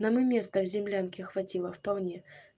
нам и места в землянке хватило вполне